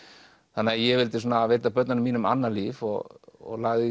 þannig að ég vildi veita börnunum mínum annað líf og lagði